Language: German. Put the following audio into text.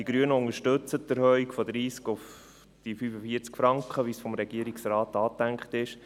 Die Grünen unterstützen die Erhöhung von 30 auf 45 Franken, wie dies vom Regierungsrat angedacht wurde.